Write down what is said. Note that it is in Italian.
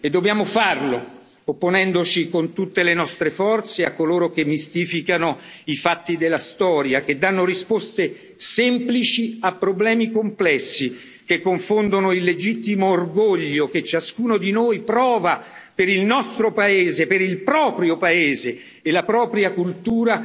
E dobbiamo farlo, opponendoci con tutte le nostre forze a coloro che mistificano i fatti della storia, che danno risposte semplici a problemi complessi, che confondono il legittimo orgoglio che ciascuno di noi prova per il nostro paese, per il proprio paese e la propria cultura,